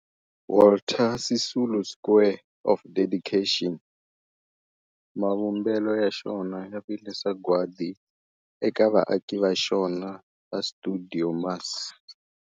Walter Sisulu Square of Dedication, mavumbelo ya xona ya vile sagwadi eka vaaki va xona va stuidio MAS.